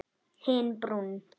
Hinn brúnn.